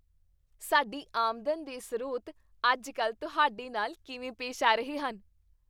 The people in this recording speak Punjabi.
ਸਾਡੀ ਆਮਦਨ ਦੇ ਸਰੋਤ ਅੱਜ ਕੱਲ੍ਹ ਤੁਹਾਡੇ ਨਾਲ ਕਿਵੇਂ ਪੇਸ਼ ਆ ਰਹੇ ਹਨ?